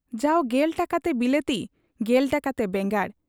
ᱡᱟᱣ ᱑᱐ ᱴᱟᱠᱟᱛᱮ ᱵᱤᱞᱟᱹᱛᱤ ᱑᱐ ᱴᱟᱠᱟᱛᱮ ᱵᱮᱸᱜᱟᱲ ᱾